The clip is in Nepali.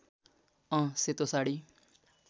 अँ सेतो साडी